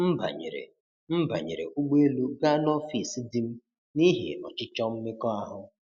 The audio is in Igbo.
M banyere M banyere ụgbọ elu gaa n'ọfịs di m n'ihi 'ọchịchọ mmekọahụ'.